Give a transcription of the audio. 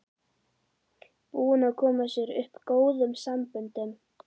Búinn að koma sér upp góðum samböndum.